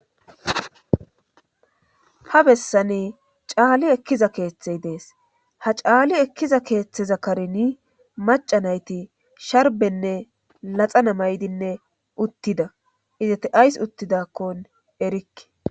ha bessani caali ekkiza keeththey de7as ha caali ekkiza keeththeza karini maca nayti sharbenne laxana maydinne uttida izate ayss uttidakkon erikke